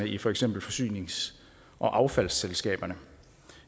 i for eksempel forsynings og affaldsselskaberne